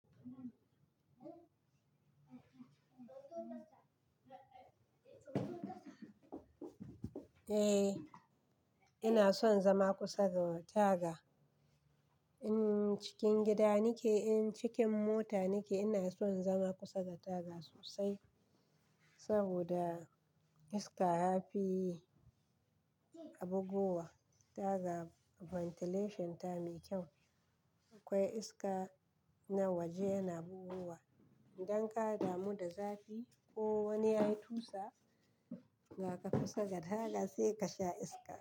Eh, ina son zama kusa da taga. In cikin gida nike, in cikin mota nike, ina son zama kusa da taga sosai saboda iska yafi bubuwa. Taga ventilation ta mai kyau. Akwai iska na waje yana bugowa. Idan ka damu da zafi ko wani yayi tusa, za ka fita kusa da taga sai ka sha iska.